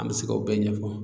An bɛ se k'o bɛɛ ɲɛfɔ